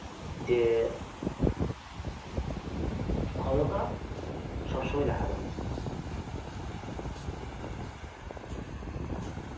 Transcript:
যে ক্ষমতা সব সময় দেখাতে নেই